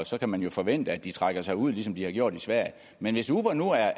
så kan man forvente at de trækker sig ud ligesom de har gjort i sverige men hvis uber nu er